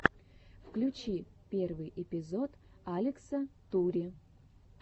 включи первый эпизод алекса тури